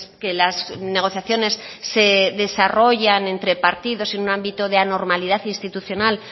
que las negociaciones se desarrollan entre partidos en un ámbito de anormalidad institucional